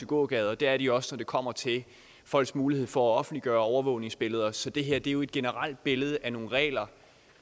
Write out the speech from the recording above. gågader det er de også når det kommer til folks mulighed for at offentliggøre overvågningsbilleder så det her er jo et generelt billede af nogle regler